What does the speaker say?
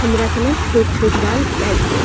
हमरा कने छोट-छोट बाल काट दे।